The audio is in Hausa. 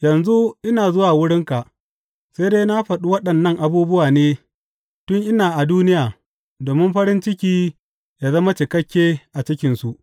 Yanzu ina zuwa wurinka, sai dai na faɗi waɗannan abubuwa ne tun ina a duniya domin farin ciki yă zama cikakke a cikinsu.